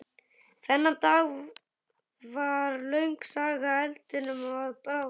Þennan dag varð löng saga eldinum að bráð.